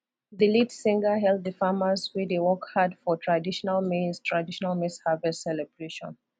the lead singer hail the farmers wey dey work hard for traditional maize traditional maize harvest celebration